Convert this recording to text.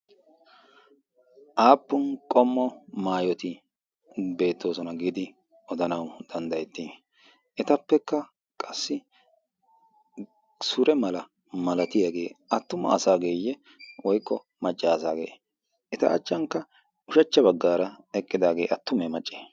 aappun qommo maayoti beettoosona. giidi odanau danddayetti etappekka qassi sure mala malatiyaagee attuma asaageeyye woiqqo maccaasaagee eta achchankka ushachcha baggaara eqqidaagee attumee macci?